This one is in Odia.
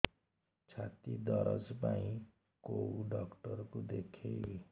ଛାତି ଦରଜ ପାଇଁ କୋଉ ଡକ୍ଟର କୁ ଦେଖେଇବି